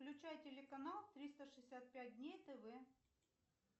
включай телеканал триста шестьдесят пять дней тв